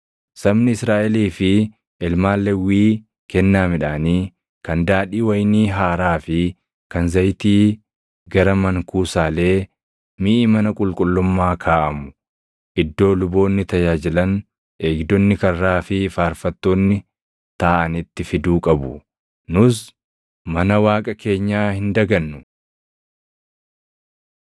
Sabni Israaʼelii fi ilmaan Lewwii kennaa midhaanii, kan daadhii wayinii haaraa fi kan zayitii gara mankuusaalee miʼi mana qulqullummaa kaaʼamu, iddoo luboonni tajaajilan, eegdonni karraa fi faarfattoonni taaʼanitti fiduu qabu. “Nus mana Waaqa keenyaa hin dagannu.”